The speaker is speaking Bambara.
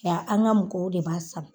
an ka mɔgɔw de b'a sara.